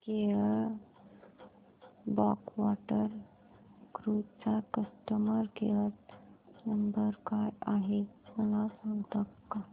Kerala backwater cruise चा customer care number काय आहे मला सांगता का